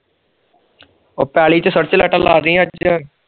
ਉਹ ਪੀਲੀ ਚ ਸਰਚ ਲੀਘਟਾ ਲਾਡੀ ਅੱਜ